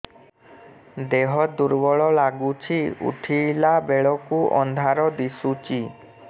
ଦେହ ଦୁର୍ବଳ ଲାଗୁଛି ଉଠିଲା ବେଳକୁ ଅନ୍ଧାର ଦିଶୁଚି